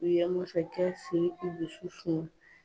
U ye masakɛ Siriki dusu suma